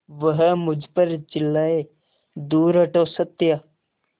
वह मुझ पर चिल्लाए दूर हटो सत्या